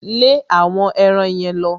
Lẹ́ àwọn eran yẹn lọ!